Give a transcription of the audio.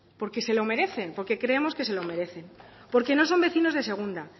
porque se lo merecen porque creemos que se lo merecen porque no son vecinos de segunda